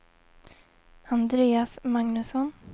Andreas Magnusson